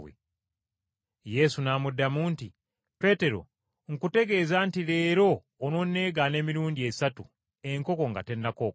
Yesu n’amuddamu nti, “Peetero, nkutegeeza nti leero ononneegaana emirundi esatu enkoko nga tennakookolima.”